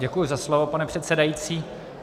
Děkuji za slovo, pane předsedající.